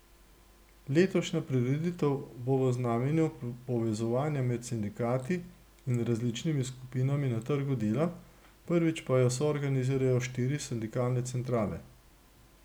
Letošnja prireditev bo v znamenju povezovanja med sindikati in različnimi skupinami na trgu dela, prvič pa jo soorganizirajo štiri sindikalne centrale.